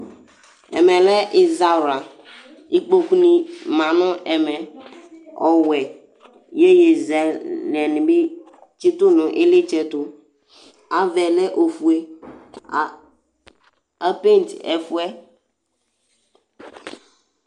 Ɛmɛlɛ iwawla Ikpoku ni ma ŋu ɛmɛ ɔwɛ Iyeyi zɛlɛ ni bi tsitu ŋu iɣlitsɛ tu Avaɛ lɛ ɔfʋe Apɛnti ɛfuɛ